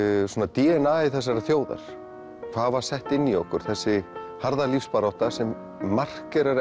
d n a i þessarar þjóðar hvað var sett inn í okkur þessi harða lífsbarátta sem markerar